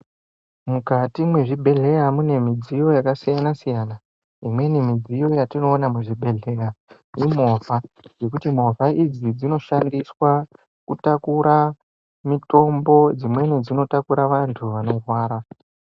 Mukati mwezvibhedhleya mune midziyo yakasiyana-siyana. Imweni midziyo yatinoona muzvibhedhleya imovha nekuti movha idzi, dzinoshandiswa kutakura mitombo , dzimweni dzinotakura vantu vanorwara.